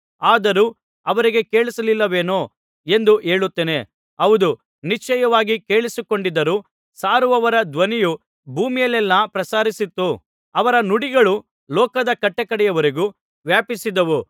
ಆದರೂ ಅವರಿಗೆ ಕೇಳಿಸಲಿಲ್ಲವೇನೋ ಎಂದು ಹೇಳುತ್ತೇನೆ ಹೌದು ನಿಶ್ಚಯವಾಗಿ ಕೇಳಿಸಿಕೊಂಡಿದ್ದರು ಸಾರುವವರ ಧ್ವನಿಯು ಭೂಮಿಯಲ್ಲೆಲ್ಲಾ ಪ್ರಸರಿಸಿತು ಅವರ ನುಡಿಗಳು ಲೋಕದ ಕಟ್ಟಕಡೆಯವರೆಗೂ ವ್ಯಾಪಿಸಿದವು